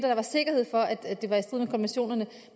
der var sikkerhed for at det var i strid med konventionerne